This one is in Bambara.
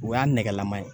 O y'a nɛgɛlama ye